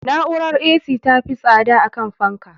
Na'urar A.C ta fi tsada akan fanka